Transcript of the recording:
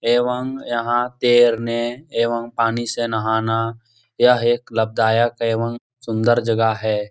एवं यहाँ तैरने एवं पानी से नहाना। यह एक लाभदायक एवं सुन्दर जगह है।